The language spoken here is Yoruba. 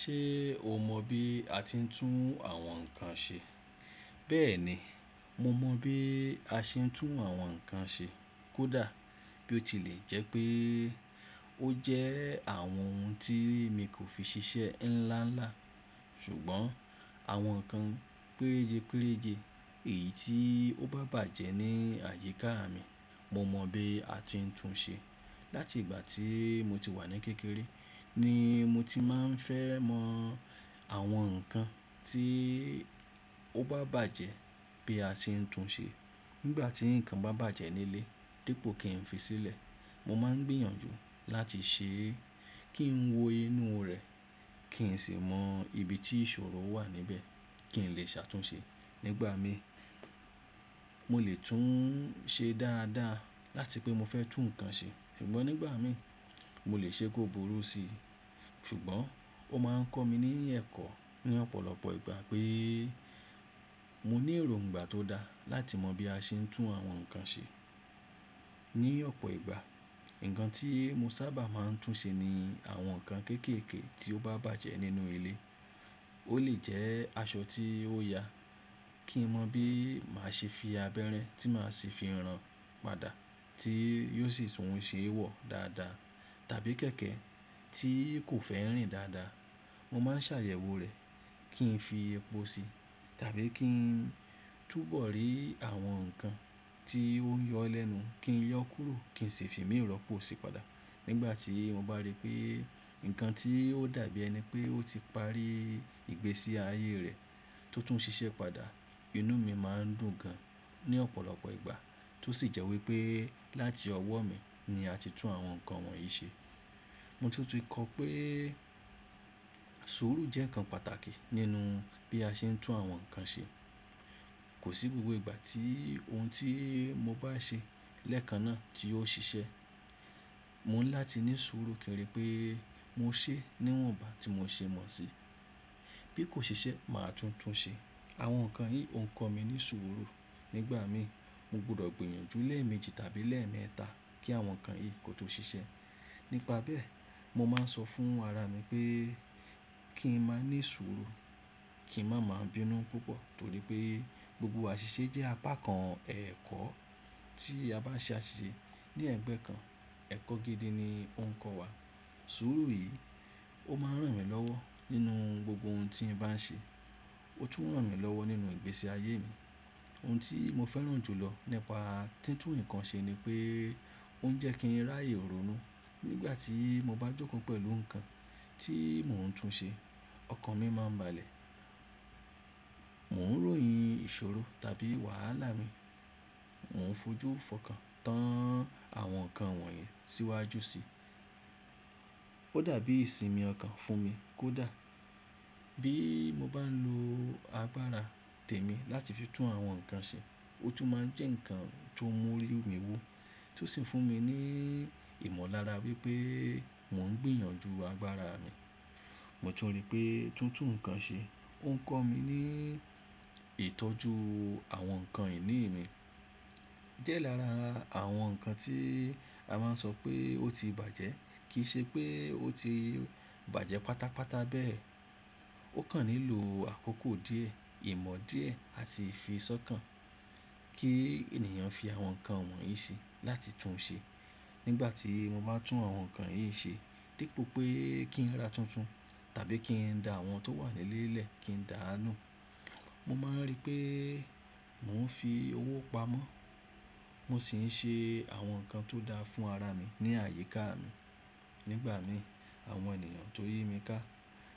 Ṣé o mọ bí a ti ń tún àwọn ǹkan ṣe? Bẹ́ẹ̀ni, mo mọ bí a ṣe ń tún àwọn ǹkan ṣe. Kódà bí ó tilẹ̀ jẹ́ pé ó jẹ́ àwọn ohun tí mi kò fi ṣiṣẹ́ ńlá ńlá, ṣùgbọ́n àwọn ǹkan péréje péréje èyí tí ó bá bàjẹ́ ní àyíká mi, mo mọ bí a ti ń tún ṣe. Látìgbà tí mo ti wà ní kékeré ni mo ti máa ń fẹ́ mọ àwọn ǹkan tí ó bá bàjẹ́ bí a ti ń tún ṣe. Nígbà tí ǹkan bá bàjẹ́ nílé, dípò kí n fi sílẹ̀, mo máa ń gbìyànjú láti ṣe é, kí n wo inú rẹ̀, kí n sì mọ ibi tí ìṣòro wà níbẹ̀ kí n lè ṣàtúnṣe. Nígbà mi, mo lè tún un ṣe dáadáa láti pé mo fẹ́ tú nǹkan ṣe, ṣùgbọ́n nígbà mi mo lè ṣe kó burú síi. Ṣùgbọ́n ó máa ń kọ́ mi ní ẹ̀kọ́ ní ọ̀pọ̀lọpọ̀ ìgbà pé mo ní èròǹgbà tó dá láti mọ bí a ṣe ń tún àwọn ǹkan ṣe. Ní ọ̀pọ̀ ìgbà, nǹkan tí mo sábà máa ń tún ṣe ni àwọn nǹkan kéékèèké tí ó bá bàjẹ́ nínú ilé. Ó lè jẹ́ aṣọ tí ó ya kí mọ bí màá ṣe fi abẹ́rẹ́ tí màá ṣi fi rán padà tí yóò sì tún ṣe wọ̀ dáadáa. Tàbí kẹ̀kẹ́ tí kò fẹ́ rìn dáadáa, mo máa ń ṣàyẹ̀wò rẹ̀ kí n fi epo sí tàbí kí n túbọ̀ rí àwọn nǹkan tí ó ń yọ lẹ́nu kí n yọ kúrò kí n sì fi mìí ró po sí padà. Nígbà tí mo bá rí pé nǹkan tí ó dàbí ẹni pé ó ti parí ìgbésí ayé rẹ̀ tó tún ń ṣiṣẹ́ padà, inú mi máa ń dùn gan ní ọ̀pọ̀lọpọ̀ ìgbà tó sì jẹ́ wí pé láti ọwọ́ mi ni a ti tún àwọn nǹkan wọ̀nyí ṣe. Mo tútù kọ́ pé àìsùúrù jẹ́ nǹkan pàtàkì nínú bí a ṣe ń tún àwọn nǹkan ṣe. Kò sí gbogbo ìgbà tí ohun tí mo bá ṣe lẹ́ẹ̀kan náà tí yóò ṣiṣẹ́. Mo ńlá ti ní ìṣòro kèrè pé mo ṣe é níwọ̀nba tí mo ṣe mọ̀ sí. Bí kò ṣiṣẹ́, màá tún tún ṣe. Àwọn nǹkan yí. Ó kọ́ mi ní sùúrù. Nígbà mi, mo gbọdọ̀ gbìyànjú lẹ́ẹ̀mejì tàbí lẹ́ẹ̀mẹ́ta kí àwọn nǹkan yìí kò tó ṣiṣẹ́. Nípa bẹ́ẹ̀, mo máa ń sọ fún ara mi pé kí n má ní sùúrù, kí n má má bínú púpọ̀ torí pé gbogbo àṣìṣe jẹ́ apá kan ẹ̀kọ́. Tí a bá ṣe àṣìṣe ní ẹ̀gbẹ́ kan, ẹ̀kọ́ gidi ni ó ń kọ́ wa. Sùúrù yìí ó máa ń ràn mí lọ́wọ́ nínú gbogbo ohun tí n bá ń ṣe. Ó tún ràn mí lọ́wọ́ nínú ìgbésí ayé mi. Ohun tí mo fẹ́ràn jù lọ nípa títún nǹkan ṣe ni pé ó ń jẹ́ kí n ráàyè ronú. Nígbà tí mo bá jókòó pẹ̀lú nǹkan tí mò ń tún ṣe, ọkàn mi má ń balẹ̀. Mò ń ròyìn ìṣòro tàbí wàhálà mi, mò ń fojú fọkàn tán àwọn nǹkan wọ̀nyí síwájú sí i. Ó dàbí ìsinmi ọkàn fún mi kódà bí mo bá ń lo agbára tèmi láti fi tún àwọn nǹkan ṣe, ó tún máa ń jẹ́ nǹkan tó ń mú orí mi wó tó sì ń fún mi ní ìmọ̀lára wípé mò ń gbìyànjú agbára mi. Mo tun ri pé títún nǹkan ṣe ó ń kọ́ mi ní ìtọ́jú àwọn nǹkan ìní mi. Di è lára àwọn nǹkan tí a má ń sọ pé ó ti bàjẹ́ kì í ṣe pé ó ti bàjẹ́ pátápátá bẹ́ẹ̀. Ó kàn nílò àkókò díẹ̀, ìmọ̀ díẹ̀ àti ìfi sọ́kàn kí ènìyàn fi àwọn nǹkan wọ̀nyí ṣe láti tún ṣe. Nígbà tí mo bá tún àwọn nǹkan yìí ṣe, dípò pé kí n ra tuntun tàbí kí n da àwọn tó wà nílé lẹ̀ kí n dà á nù, mo máa ń rí pé mò ń fi owó pamọ́, mo sì ń ṣe àwọn nǹkan tó dáa fún ara mi ní àyíká mi. Nígbà mi, àwọn ènìyàn tó yi mi ká